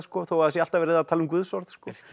þó það sé alltaf verið að tala um guðsorð